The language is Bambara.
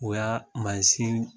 O y'a mansin